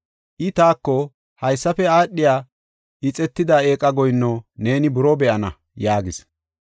I taako, “Haysafe aadhiya ixetida eeqa goyinno neeni buroo be7ana” yaagis.